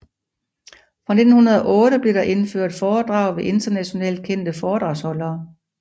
Fra 1908 blev der indført foredrag ved internationalt kendte foredragsholdere